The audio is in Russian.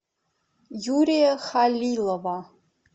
юрия халилова